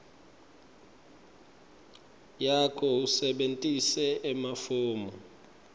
yakho usebentise emafomu